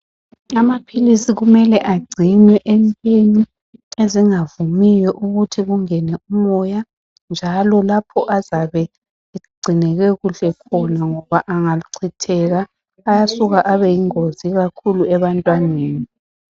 amaphilisi kumele egcinwe entweni ezingavumiyo ukuthi zingene umoya njalo lapho azabe egcinwe kuhle khona angachitheka ayasuka abe yingozi kakhulu ebantwaneni